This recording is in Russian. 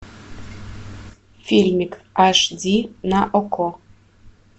фильмик аш ди на окко